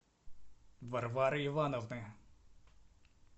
варвары ивановны